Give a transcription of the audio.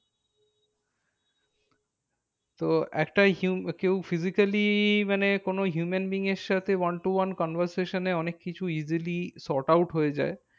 তো একটা কেউ physically মানে কোনো human being এর সাথে one to one conversation এ অনেক কিছু easily sort out হয়ে যায়।